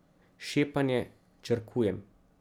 Šepanje, črkujem.